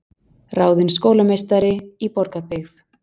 Ráðin skólameistari í Borgarbyggð